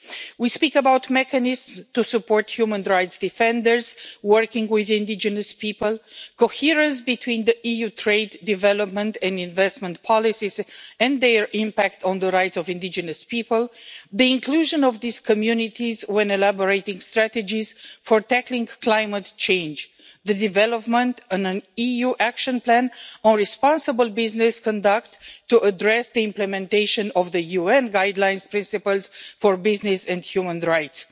We speak about mechanisms to support human rights defenders working with indigenous people, coherence between the EU's trade, development and investment policies and their impact on the rights of indigenous people, the inclusion of these communities when elaborating strategies for tackling climate change, and the development of an EU action plan on responsible business conduct to address the implementation of the UN Guiding Principles on Business and Human Rights.